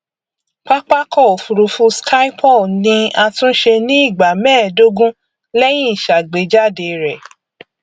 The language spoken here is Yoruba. pápákọ òfurufú schipol ni àtúnṣe ní ìgbà mẹẹdógún lẹyìn ìṣàgbéjáde rẹ